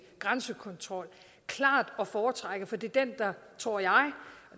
grænsekontrol klart at foretrække for det er den der tror jeg og